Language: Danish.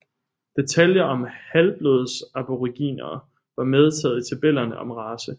Detaljer om halvblodsaboriginere var medtaget i tabellerne om race